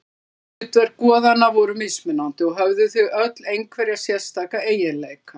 Hlutverk goðanna voru mismunandi og höfðu þau öll einhverja sérstaka eiginleika.